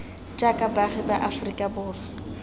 jaaka baagi ba aferika borwa